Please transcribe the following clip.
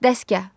Dəstgah.